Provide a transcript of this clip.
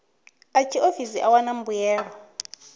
a tshiofisi u wana mbuelo